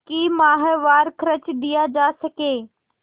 कि माहवार खर्च दिया जा सके